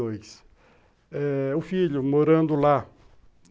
O filho morando lá.